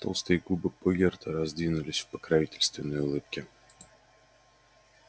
толстые губы богерта раздвинулись в покровительственной улыбке